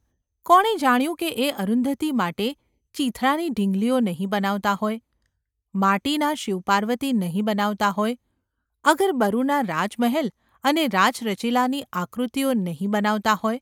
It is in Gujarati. કોણે જાણ્યું કે એ અરુંધતી માટે ચીંથરાની ઢીંગલીઓ નહિ બનાવતા હોય, માટીના શિવ-પાર્વતી નહિ બનાવતા હોય, અગર બરૂના રાજમહેલ અને રાચરચીલાની આકૃતિઓ નહિ બનાવતા હોય?